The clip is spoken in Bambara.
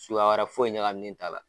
Suguya wɛrɛ foyi ɲagaminen t'a la